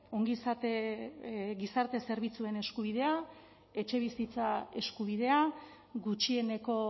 ongizate gizarte zerbitzuen eskubidea etxebizitza eskubidea gutxieneko